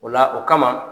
O la o kama